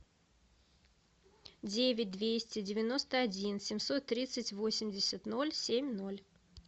девять двести девяносто один семьсот тридцать восемьдесят ноль семь ноль